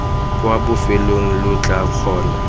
kwa bofelong lo tla kgona